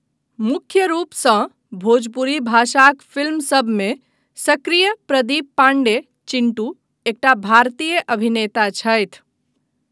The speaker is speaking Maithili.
मुख्य रूपसँ भोजपुरी भाषाक फिल्मसभमे सक्रिय प्रदीप पाण्डे 'चिंटू' एकटा भारतीय अभिनेता छथि।